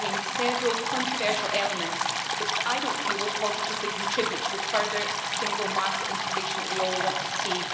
It contained several controversial elements which I do not feel will positively contribute to the further single market integration that we all want to see.